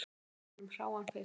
Við gáfum honum hráan fisk